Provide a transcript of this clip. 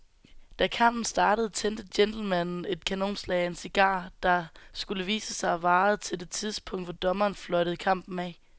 Da kampen startede tændte gentlemanen et kanonslag af en cigar, der, skulle det vise sig, varede til det tidspunkt, hvor dommeren fløjtede kampen af.